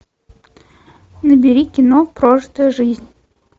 набери кино прожитая жизнь